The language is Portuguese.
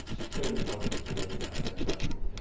Deixa eu te perguntar algumas curiosidades agora, um pouco para